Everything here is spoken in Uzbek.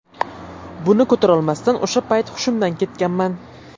Buni ko‘tarolmasdan o‘sha payt hushimdan ketganman.